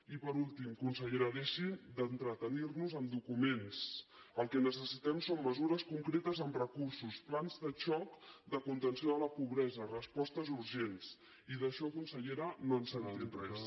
i per últim consellera deixi d’entretenir nos amb documents el que necessitem són mesures concretes amb recursos plans de xoc de contenció de la pobresa respostes urgents i d’això consellera no ens n’ha dit res